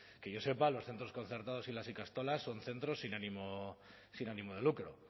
que yo sepa los centros concertados y las ikastolas son centros sin ánimo de lucro